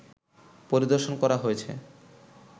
পরিদর্শন করা হয়েছে